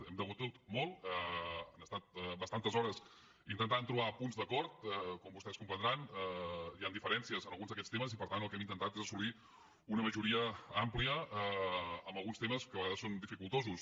hem debatut molt han estat bastantes hores intentant trobar punts d’acord com vostès comprendran hi han diferències en alguns d’aquests temes i per tant el que hem intentat és assolir una majoria àmplia en alguns temes que de vegades són dificultosos